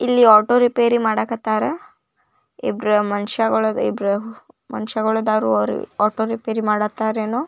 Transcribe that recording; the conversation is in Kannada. ಇಲ್ಲಿ ಆಟೋ ರಿಪೇರಿ ಮಾಡಕ್ ಹತ್ತರ ಇಬ್ರು ಮನುಷ್ಯರುಗಳು ಇಬ್ರು ಮನುಷ್ಯ ಅದರ ಅವರ ಆಟೋ ರಿಪೇರಿ ಮಾಡುತ್ತಾರ ಏನೋ .